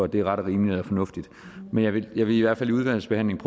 det er ret og rimeligt og fornuftigt men jeg vil i hvert fald i udvalgsbehandlingen